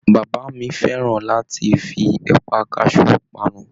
Bàbá mi fẹràn láti fí ẹpa kasú panu.